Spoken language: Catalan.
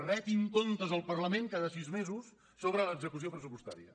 retin comptes al parlament cada sis mesos sobre l’execució pressupostària